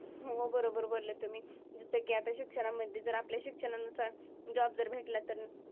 हो बरोबर बोलले तुम्ही. जसं की आता शिक्षणामध्ये जर आपल्या शिक्षणानुसार job जर भेटला तर